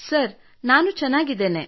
sir ನಾನು ಚೆನ್ನಾಗಿದ್ದೇನೆ